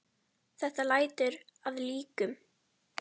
Þetta lætur að líkum.